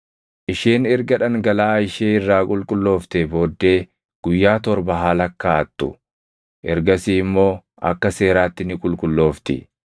“ ‘Isheen erga dhangalaʼaa ishee irraa qulqullooftee booddee guyyaa torba haa lakkaaʼattu; ergasii immoo akka seeraatti ni qulqulloofti.